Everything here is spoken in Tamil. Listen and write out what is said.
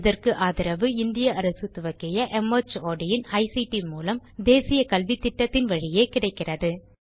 இதற்கு ஆதரவு இந்திய அரசு துவக்கிய மார்ட் இன் ஐசிடி மூலம் தேசிய கல்வித்திட்டத்தின் வழியே கிடைக்கிறது